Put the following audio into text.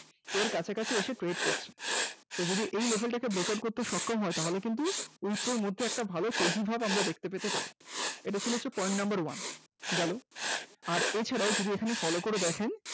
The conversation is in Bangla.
এর কাছাকাছি এসে wait করছে, যদি এই level টাকে breakup করতে সক্ষম হয় তাহলে কিন্তু wipro রর মধ্যে একটা ভালো তেজিভাব আমরা দেখতে পেতে পারি এটাই ছিল Point number one গেল আর এছাড়াও যদি এখানে Follow করে দেখেন